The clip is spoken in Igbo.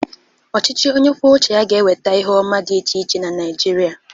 Ọchịchị onye kwuo ụche ya ga na-eweta ihe ọma dị iche iche na Naịjirịa.